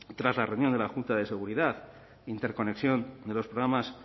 tras la reunión de la junta de seguridad interconexión de los programas